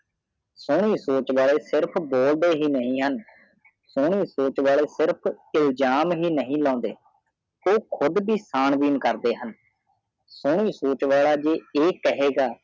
ਸੋਨੀ ਸੋੱਚ ਵਾਲੇ ਸਿਰਫ ਬੋਲਡੇ ਹੀ ਨਹੀ ਹਨ ਸੁਨੀ ਸੂਚ ਵੇਲੇ ਸਿਰਫ ਇਲਜ਼ਮ ਹੀ ਨਹਿਉ ਲੌਂਦੇ ਉਹ ਕੂੜ ਵ ਚਾਂਬੀਨਬਿਨ ਕਰਦੇ ਹਨ ਸੂਨੀ ਸੂਚ ਵਾਲਾ ਜਿ ਆਹ ਕਹੀਐਗਾ